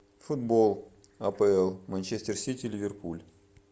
футбол апл манчестер сити ливерпуль